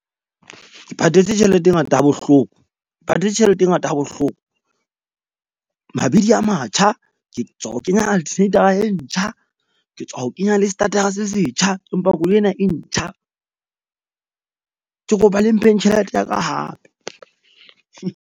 Ke patetse tjhelete e ngata ha bohloko, patetse tjhelete e ngata ha bohloko. Mabidi a matjha ke tswa ho kenya e ntjha. Ke tswa ho kenya le starter-a se setjha, empa koloi ena e ntjha, ke kopa le mpheng tjhelete ya ka hape .